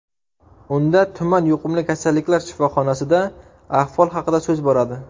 Unda tuman yuqumli kasalliklar shifoxonasida ahvol haqida so‘z boradi.